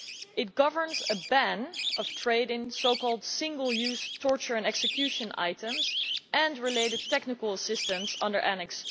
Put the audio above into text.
It governs a ban on trade in so called single use torture and execution items and related technical assistance under Annex